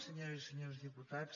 senyores i senyors diputats